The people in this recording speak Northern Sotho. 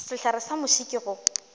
sehlare sa muši ke go